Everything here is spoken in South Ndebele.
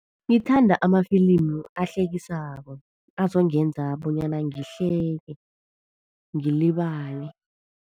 Ngithanda amafilimu ahlekisako. Azongenza bonyana ngihleke, ngilibale.